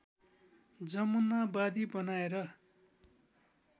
जमुनावादी बनाएर